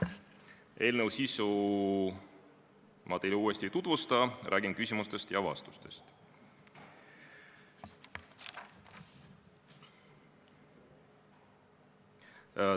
Eelnõu sisu ma teile uuesti ei tutvusta, räägin küsimustest ja vastustest.